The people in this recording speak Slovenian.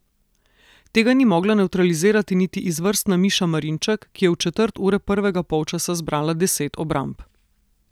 Tega ni mogla nevtralizirati niti izvrstna Miša Marinček, ki je v četrt ure prvega polčasa zbrala deset obramb.